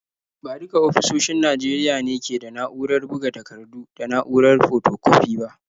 Ba duka ofisoshin Najeriya ne ke da na’urar buga takardu da na’urar fotokwafi ba.